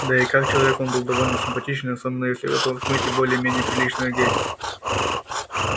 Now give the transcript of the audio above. да и как человек он был довольно симпатичен особенно если его отмыть и более-менее прилично одеть